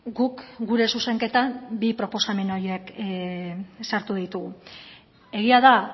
guk gure zuzenketan bi proposamen horiek sartu ditugu egia da